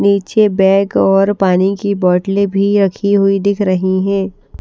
नीचे बैग और पानी की बॉटले भी रखी हुई दिख रही हैं।